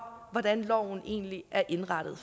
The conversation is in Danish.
hvordan loven egentlig er indrettet